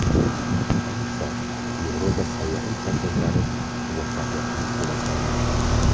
Ayniqsa Yevropa sayyohlik markazlari muvaffaqiyatli rivojlanmoqda.